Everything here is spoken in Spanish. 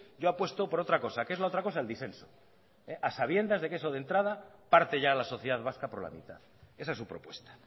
yo apuesto por otra cosa qué es la otra cosa el disenso a sabiendas de que eso de entrada parte ya a la sociedad vasca por la mitad esa es su propuesta